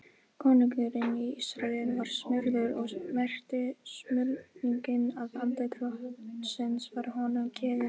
Konungurinn í Ísrael var smurður og merkti smurningin að andi Drottins var honum gefinn.